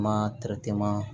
Ma